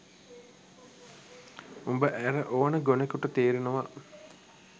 උඹ ඇර ඕන ගොනෙකුට තේරෙනවා.